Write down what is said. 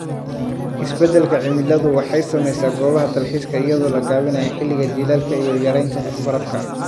Isbeddelka cimiladu waxay saamaysaa goobaha dalxiiska iyadoo la gaabinayo xilliga jiilaalka iyo yaraynta barafka.